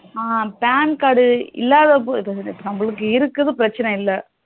அ PAN இல்லாதவங்களுக்கு நமக்கு இருக்குது பிரச்சனை இல்ல